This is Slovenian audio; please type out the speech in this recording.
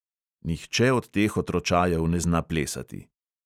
"Nihče od teh otročajev ne zna plesati."